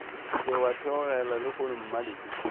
se wa theogela lehono mmalehu